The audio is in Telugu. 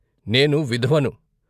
" నేను విధవను.